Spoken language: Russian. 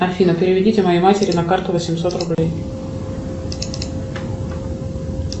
афина переведите моей матери на карту восемьсот рублей